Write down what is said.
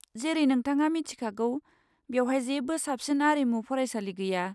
जेरै नोंथाङा मिथिखागौ, बेवहाय जेबो साबसिन आरिमु फरायसालि गैया।